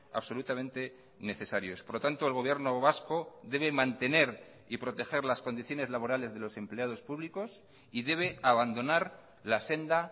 absolutamente necesarios por lo tanto el gobierno vasco debe mantener y proteger las condiciones laborales de los empleados públicos y debe abandonar la senda